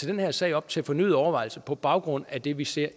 den her sag op til fornyet overvejelse på baggrund af det vi ser